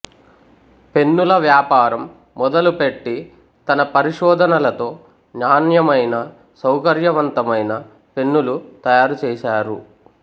పెన్నుల వ్యాపారం మొదలు పెట్టి తన పరిశోధనలతో నాణ్యమైన సౌకర్యవంతమైన పెన్నులు తయారుచేశారు